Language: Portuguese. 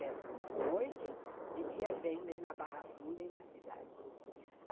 Pescam de noite, de dia vendem na Barra Funda e na cidade.